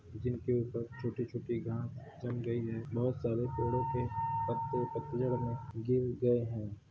जिनके ऊपर छोटी-छोटी घांस जम गई है बहुत सारे पेड़ो के पत्तों पतझड़ में गिर गए है।